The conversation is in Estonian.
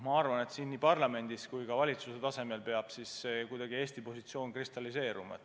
Ma arvan, et siin parlamendis ja ka valitsuse tasemel peab Eesti positsioon kuidagi kristalliseeruma.